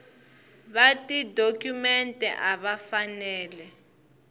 va tidokhumente a va fanele